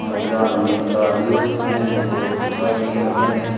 मात्रा में गाड़ियों हैं और गाड़ी में बंद हैं।